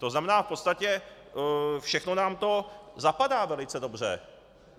To znamená, v podstatě všechno nám to zapadá velice dobře.